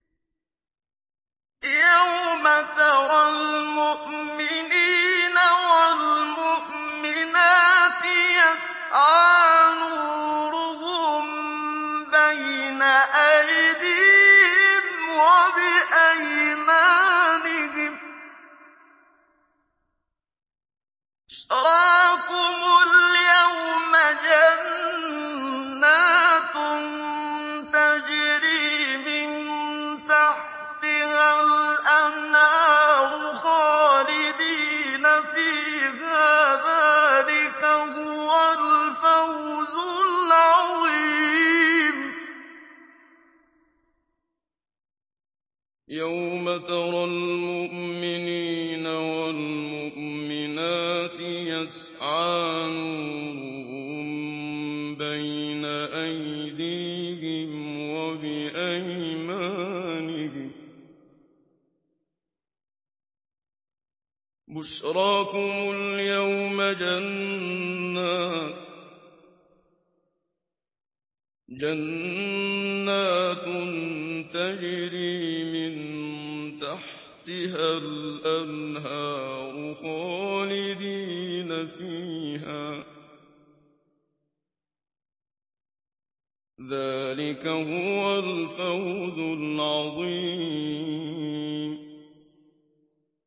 يَوْمَ تَرَى الْمُؤْمِنِينَ وَالْمُؤْمِنَاتِ يَسْعَىٰ نُورُهُم بَيْنَ أَيْدِيهِمْ وَبِأَيْمَانِهِم بُشْرَاكُمُ الْيَوْمَ جَنَّاتٌ تَجْرِي مِن تَحْتِهَا الْأَنْهَارُ خَالِدِينَ فِيهَا ۚ ذَٰلِكَ هُوَ الْفَوْزُ الْعَظِيمُ